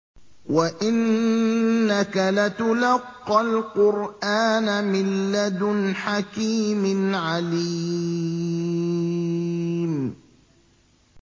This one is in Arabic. وَإِنَّكَ لَتُلَقَّى الْقُرْآنَ مِن لَّدُنْ حَكِيمٍ عَلِيمٍ